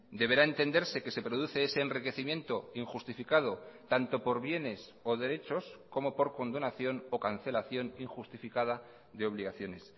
deberá entenderse que se produce ese enriquecimiento injustificado tanto por bienes o derechos como por condonación o cancelación injustificada de obligaciones